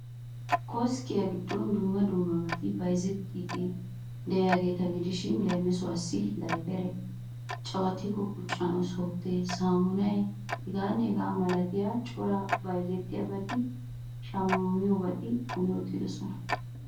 Koskkiya giddon dumma dumma bayzettiyabati de'iyageeta. gidishin leemisuwassi, dayferee, caawattikko qucettanawu softee, saamunay hegaanne hegaa malatiya cora bayzziyobatinne shammiyobati kumi uttidosona.